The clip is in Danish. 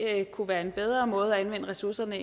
kunne være en bedre måde at anvende ressourcerne